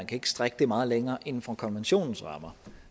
kan strække det meget længere inden for konventionens rammer